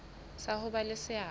sa ho ba le seabo